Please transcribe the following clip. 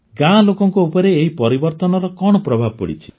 ଗାଁ ଲୋକଙ୍କ ଉପରେ ଏହି ପରିବର୍ତନର କଣ ପ୍ରଭାବ ପଡ଼ିଛି